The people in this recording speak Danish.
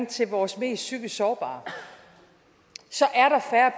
til vores mest psykisk sårbare så